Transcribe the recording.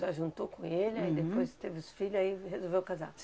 A senhora junto com ele, aí depois teve os filho, aí resolveu casar?